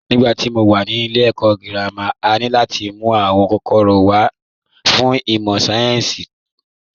Nígbà tí mo wà ní ilé ẹ̀kọ́ girama, a ní láti mú àwọn kòkòrò wa wá fún ìmọ̀ sáyẹ́ǹsì tó wúlò